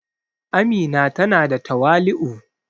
Amina ta na da tawali'u